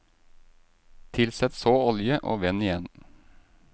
Tilsett så olje, og vend igjen.